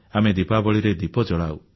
ଆମେ ଦିପାବଳୀରେ ଦୀପ ଜଳାଉ